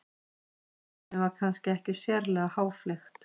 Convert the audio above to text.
Tilefnið var kannski ekki sérlega háfleygt.